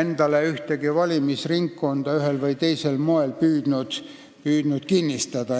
endale ühtegi valimisringkonda ühel või teisel moel püüdnud kinnistada.